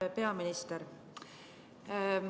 Hea peaminister!